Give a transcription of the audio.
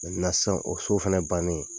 sisan o so fɛnɛ bannen,